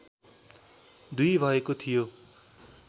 २ भएको थियो